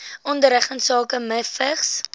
onderrig insake mivvigs